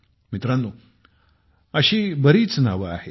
मित्रांनो अशी बरीच नावे आहेत